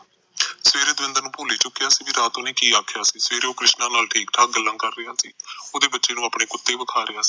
ਸਵਾਰੇ ਦਵਿੰਦਰ ਨੂੰ ਭੁੱਲ ਈ ਚੁਕਿਆ ਸੀ ਕੇ ਰਾਤ ਉਹਨੇ ਕੇ ਆਖਿਆ ਸਵਾਰੇ ਉਹ ਕ੍ਰਿਸ਼ਨਾ ਨਾਲ ਠੀਕ ਠਾਕ ਗੱਲਾਂ ਕਰ ਰਿਹਾ ਸੀ ਓਹਦੇ ਬੱਚੇ ਨੂੰ ਆਪਣੇ ਕੁੱਤੇ ਵੇਖਾ ਰਿਹਾ ਸੀ